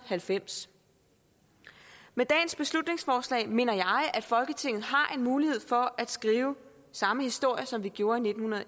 halvfems med dagens beslutningsforslag mener jeg at folketinget har en mulighed for at skrive samme historie som vi gjorde i nitten